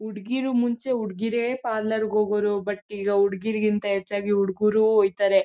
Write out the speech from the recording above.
ಹುಡ್ಗಿರು ಮುಂಚೆ ಹುಡ್ಗಿರೆಯೇ ಪಾರ್ಲೊರ್ ಗೆ ಹೋಗ್ವರು ಬಟ್ ಈಗ ಹುಡ್ಗಿರು ಗಿಂತ ಹೆಚ್ಚಾಗಿ ಹುಡ್ಗರು ಹೊಯ್ತಾರೆ